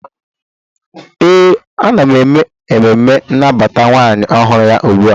ee, ana m eme emume nnabata nwunye ọhụrụ ugbu a